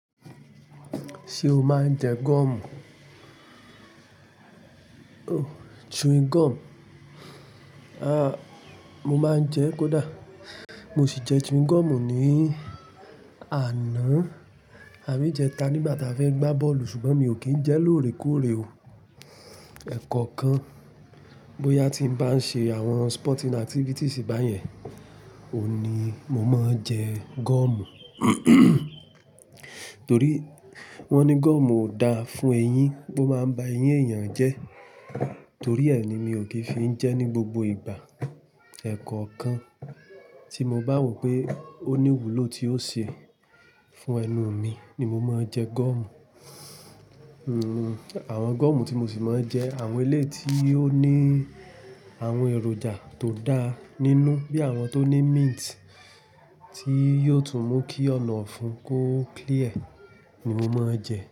Ṣé o máa ń jẹ gọ́ọ̀mù? Oh, chewing gum. Aah, mo máa ń jẹ, kódà. Mo sì jẹ chewing gum ní àná, àbí ijẹta nígbà tí a fẹ́ gbá bọ́ọ̀lù ṣùgbọ́n mi ò kí ń jẹ lóòrèkóòrè o. Ẹ̀kọ̀okan, bóyá tí n bá ń ṣe àwọn sporting activities báyẹn, òun ni mo máa ń jẹ gọ́ọ̀mù. Torí wọ́n ní gọ́ọ̀mù ò da fún eyín, ó máa ń ba eyín èèyàn jẹ́. Torí ẹ ni mi ò kì í fi ń jẹ ní gbogbo ìgbà. Ẹ̀kọ̀okan, tí mo bá wò pé ó ní ìwúlò tí ó ṣe fún ẹnu mi ni mo máa ń jẹ gọ́ọ̀mù. Hmm, àwọn gọ́ọ̀mù tí mo sì máa ń jẹ àwọn eléyi ti tí ó ní àwọn èròjà tó da nínú bí i àwọn tó ní mint tí yóò tún mú kí ọ̀nà ọ̀fun kó clear ni mo máa ń jẹ.